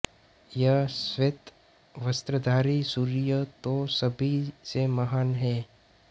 यह श्वेत वस्त्रधारी सूर्य तो सभी से महान है